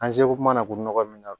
An seko mana k'u nɔgɔ min na